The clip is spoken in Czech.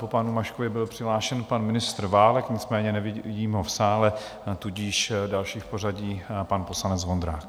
Po panu Maškovi byl přihlášen pan ministr Válek, nicméně nevidím ho v sále, tudíž další v pořadí, pan poslanec Vondrák.